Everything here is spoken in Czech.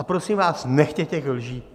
A prosím vás, nechme těch lží.